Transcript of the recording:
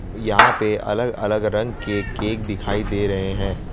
यहां पे अलग अलग रंग के केक दिखाई दे रहे हैं।